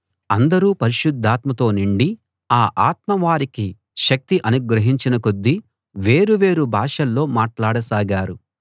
అందరూ పరిశుద్ధాత్మతో నిండి ఆ ఆత్మ వారికి శక్తి అనుగ్రహించిన కొద్దీ వేరు వేరు భాషల్లో మాట్లాడసాగారు